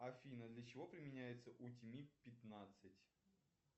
афина для чего применяется утимит пятнадцать